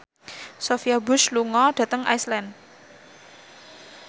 Sophia Bush lunga dhateng Iceland